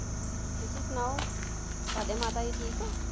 ਤੁਸੀਂ ਸੁਣਾਓ ਤੁਹਾਡੇ ਮਾਤਾ ਜੀ ਠੀਕ ਐ?